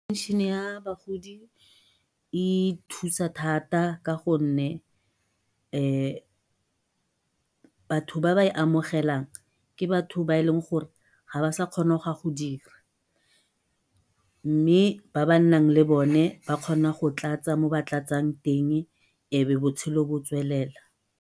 Pension-e ya bagodi e thusa thata ka gonne batho ba ba e amogelang ke batho ba e leng gore ga ba sa kgona go ka go dira, mme ba ba nnang le bone ba kgona go tlatsa mo ba tlatsang teng ebe botshelo bo tswelela.